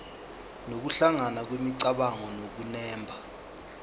nokuhlangana kwemicabango nokunemba